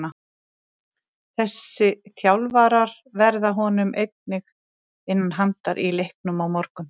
Þessi þjálfarar verða honum einnig innan handar í leiknum á morgun.